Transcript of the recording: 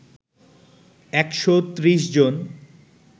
একশো ত্রিশ জন